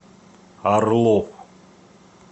орлов